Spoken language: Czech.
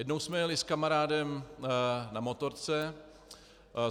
Jednou jsme jeli s kamarádem na motorce.